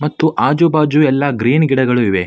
ಮತ್ತು ಆಜು ಬಾಜು ಎಲ್ಲ ಗ್ರೀನ್ ಗಿಡಗಳು ಇವೆ.